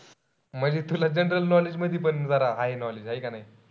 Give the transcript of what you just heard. म्हणजे तुला general knowledge मध्ये पण जरा हाये knowledge हाये का नाई?